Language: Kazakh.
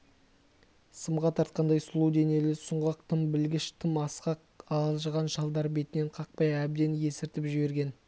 сымға тартқандай сұлу денелі сұңғақ тым білгіш тым асқақ алжыған шалдар бетінен қақпай әбден есіртіп жіберген